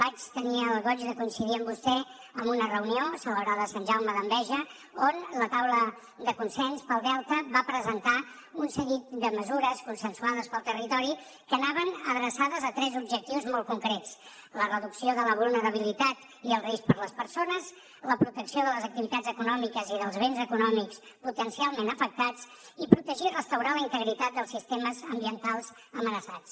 vaig tenir el goig de coincidir amb vostè en una reunió celebrada a sant jaume d’enveja on la taula de consens pel delta va presentar un seguit de mesures consensuades pel territori que anaven adreçades a tres objectius molt concrets la reducció de la vulnerabilitat i el risc per a les persones la protecció de les activitats econòmiques i dels béns econòmics potencialment afectats i protegir i restaurar la integritat dels sistemes ambientals amenaçats